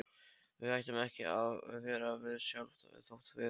Við hættum ekki að vera við sjálf þótt við.